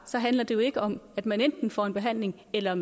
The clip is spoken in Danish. så handler det jo ikke om at man enten får en behandling eller